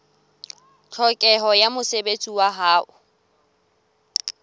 tlhokeho ya mosebetsi wa ho